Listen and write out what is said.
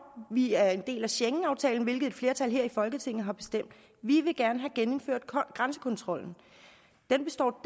vi er en del af schengenaftalen hvad et flertal her i folketinget har bestemt vi vil gerne have genindført grænsekontrollen den består